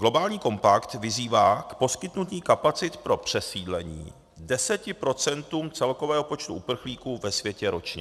Globální kompakt vyzývá k poskytnutí kapacit pro přesídlení deseti procentům celkového počtu uprchlíků ve světě ročně.